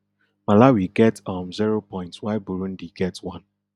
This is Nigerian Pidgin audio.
malawi get um zero points while burundi get one